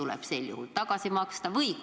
Kas sel juhul tuleb need tagasi maksta?